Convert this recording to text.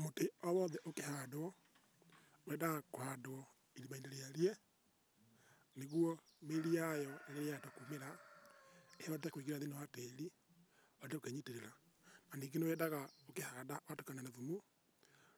Mũtĩ o wothe ukĩhandwo wendaga kũhandwo irimainĩ rĩarie nĩguo mĩri yayo ĩrĩhota kũmĩra ĩhote kũingĩra thĩiniĩ wa tĩri ũbatie kwĩnyitĩrĩra ningĩ nĩ wendaga kĩhanda ngatukania na thumu